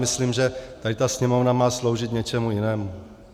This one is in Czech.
Myslím, že tady ta Sněmovna má sloužit něčemu jinému.